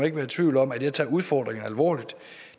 ikke være i tvivl om at jeg tager udfordringen alvorligt